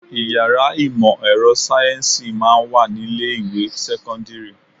Ìyàrá ìmò ẹ̀rọ sáyẹ́ǹsì máa ń wà ní ilé ìwé sẹ́kọ́ńdírì.